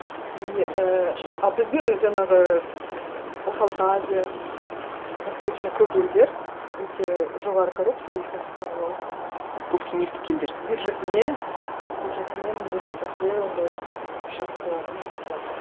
и ііі а біздің жаңағы м орталық азия м восточный көп елдер өте жоғары коррупция и сондықтан олар посткеңестік елдер бюджетіне бюджетіне міндетті түрде ондай ііі шапкаларын салады